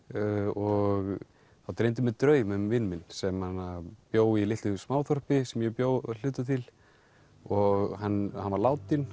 og þá dreymdi mig draum um vin minn sem bjó í litlu smáþorpi sem ég bjó að hluta til og hann hann var látinn